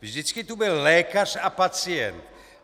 Vždycky tu byl lékař a pacient.